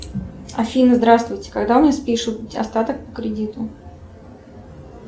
афина здравствуйте когда у меня спишут остаток по кредиту